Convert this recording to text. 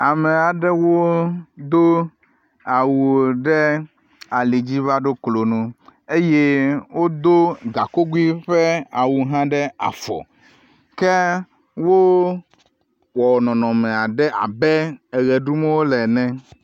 Ame aɖewo do awu ɖe ali dzi vaɖo klo nu eye wodo gakogui ƒe awu hã ɖe afɔ, ke wowɔ nɔnɔme aɖe abe eɣe ɖum wole ene.